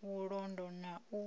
vhulondo na u